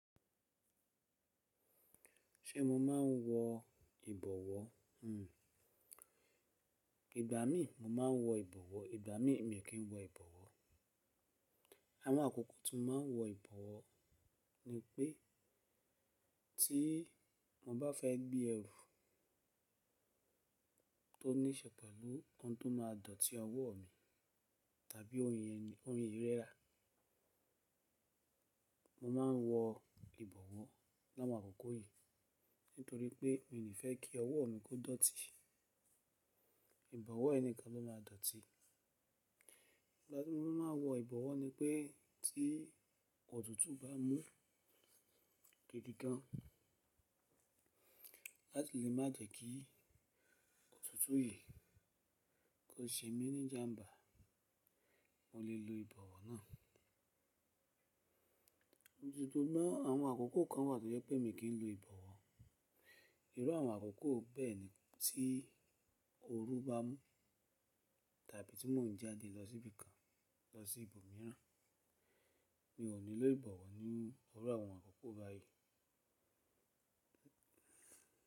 Ṣé mo máa ń wọ ìbọ̀wọ́? Ìgbà mí mo máa ń wọ ìbọ̀wọ́, ìgbà mi mi kìn wọ ìbọ̀wọ́. Àwọn àkókò tí mo máa ń wọ ìbọ̀wọ́, ni pé ti mo bá fẹ́ gbé ẹrù tó ní iṣẹ́ pẹ̀lú ohun tó máa dọ̀tí ọwọ́ mi tàbi ko yi mi lara, mo máa ń wọ ìbọ̀wọ́ láwo àkókò yìí. Nítorí pé mi ò ní fẹ́ kí ọwọ́ mi kó dọ̀tí, ìbọ̀wọ́ yi ni kan ló máa dọ̀tí. Ìgbà tí mo máa wọ ìbọ̀wọ́ ni pé tí òtútù bá mú gidi gan, láti lè má jẹ́ kí òtútù yìí kó ṣe mi ní ijámbà, mo lè lo ìbọ̀wọ́ náà. Sugnon àwọn àkókò kan wà tó jẹ́ pé mio kin lo ìbọ̀wọ́. Ìru àwọn àkókò bẹ́ẹ̀ ni. Tí ooru bá mú tàbí tí mo ń jáde lọ sí ibì kan, lọ sí ìlú mìíràn, mi ò ní lo ìbọ̀wọ́ ní irú àwọn àkókò báyìí.